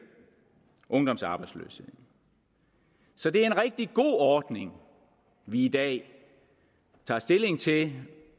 ungdomsarbejdsløsheden så det er en rigtig god ordning vi i dag tager stilling til